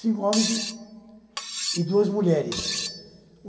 Cinco homens e e duas mulheres.